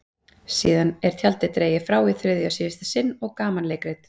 Síðan er tjaldið dregið frá í þriðja og síðasta sinn og gamanleikrit